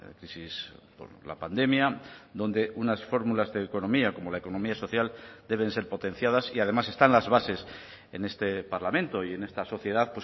crisis por la pandemia donde unas fórmulas de economía como la economía social deben ser potenciadas y además están las bases en este parlamento y en esta sociedad